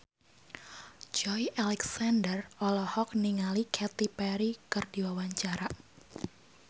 Joey Alexander olohok ningali Katy Perry keur diwawancara